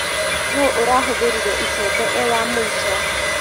Nũ ũrahũthĩrire icembe e wa mũico.